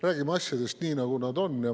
Räägime asjadest nii, nagu nad on.